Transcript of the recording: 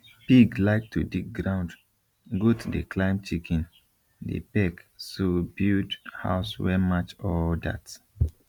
pig like to dig ground goat dey climb chicken dey peck so build house wey match all that